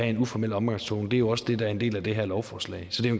en uformel omgangstone det er jo også det der er en del af det her lovforslag så det er